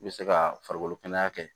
I bɛ se ka farikolo kɛnɛya kɛ